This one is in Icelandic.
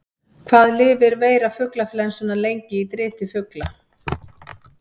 Hvað lifir veira fuglaflensunnar lengi í driti fugla?